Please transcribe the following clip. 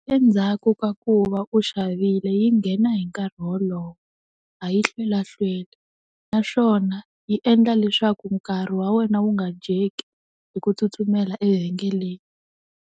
Endzhaku ka ku va u xavile yi nghena hi nkarhi wolowo, a yi hlwela hlweli naswona yi endla leswaku nkarhi wa wena wu nga dyeki hi ku tsutsumela evhengeleni.